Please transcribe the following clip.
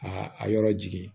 A a yɔrɔ jigin